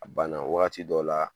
A banna waati dɔ la